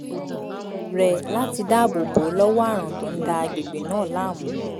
rẹ̀ láti dáàbò bó ò lọ́wọ́ àrùn tó ń da agbègbè náà láàmú